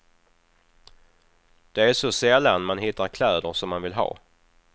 Det är så sällan man hittar kläder som man vill ha.